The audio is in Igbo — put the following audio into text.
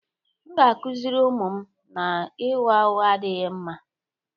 M ga-akụziri ụmụ m na ịgha ụgha adịghị mma